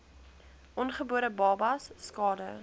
ongebore babas skade